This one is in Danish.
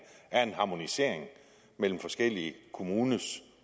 er en harmonisering mellem forskellige kommuners